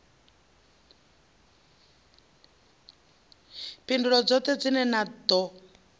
phindulo dzoṱhe dzine na ḓo